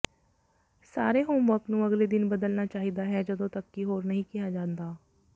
ਸਾਰੇ ਹੋਮਵਰਕ ਨੂੰ ਅਗਲੇ ਦਿਨ ਬਦਲਣਾ ਚਾਹੀਦਾ ਹੈ ਜਦੋਂ ਤਕ ਕਿ ਹੋਰ ਨਹੀਂ ਕਿਹਾ ਜਾਂਦਾ